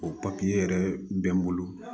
O papiye yɛrɛ bɛ n bolo